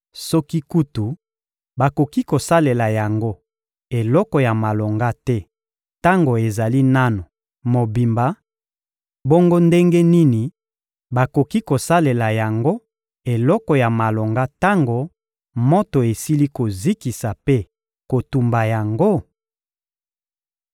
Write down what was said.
Soki kutu bakoki kosalela yango eloko ya malonga te tango ezali nanu mobimba, bongo ndenge nini bakoki kosalela yango eloko ya malonga tango moto esili kozikisa mpe kotumba yango?